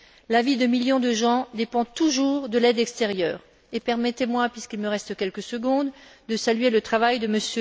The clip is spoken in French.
La vie de millions de gens dépend toujours de l'aide extérieure. Et permettez moi puisqu'il me reste quelques secondes de saluer le travail de M.